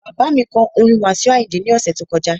Bàbá kọ orin Wasiu Ayinde ní ọ̀sẹ̀ tó kọjá